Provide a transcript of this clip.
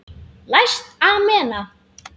Læst amena.